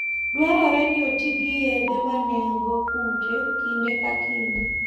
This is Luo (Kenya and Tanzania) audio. Dwarore ni oti gi yedhe ma nego kute kinde ka kinde.